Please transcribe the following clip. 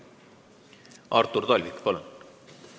Artur Talvik, palun!